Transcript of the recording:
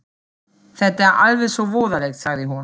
Þetta er alveg svo voðalegt, sagði hún.